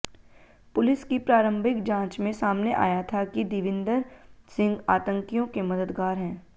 police की प्रारंभिक जांच में सामने आया था कि देविंदर सिंह आतंकियों के मददगार हैं